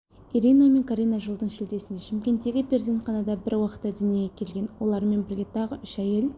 ирина мен карина жылдың шілдесінде шымкенттегі перзентханада бір уақытта дүниеге келген олармен бірге тағы үш әйел